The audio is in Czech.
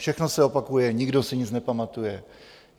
Všechno se opakuje, nikdo si nic nepamatuje.